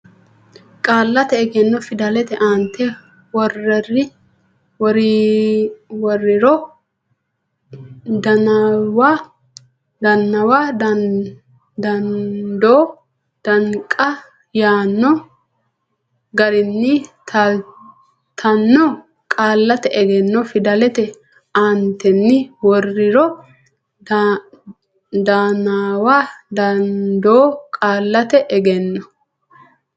Qaallate Egenno Fidalete aantenni worriro danaawa dandoo danqa yaanno garinni taaltanno Qaallate Egenno Fidalete aantenni worriro danaawa dandoo Qaallate Egenno.